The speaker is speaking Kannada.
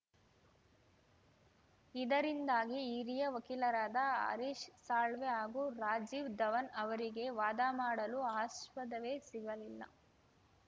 ಇದರಿಂದಾಗಿ ಹಿರಿಯ ವಕೀಲರಾದ ಹರೀಶ್‌ ಸಾಳ್ವೆ ಹಾಗೂ ರಾಜೀವ್‌ ಧವನ್‌ ಅವರಿಗೆ ವಾದ ಮಾಡಲು ಆಸ್ಪದವೇ ಸಿಗಲಿಲ್ಲ